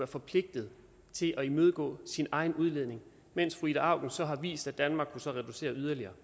forpligtet til at imødegå sin egen udledning mens fru ida auken så har vist at danmark kunne reducere yderligere